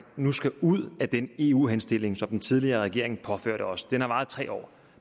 nu skal ud af den eu henstilling som den tidligere regering påførte os den har varet i tre år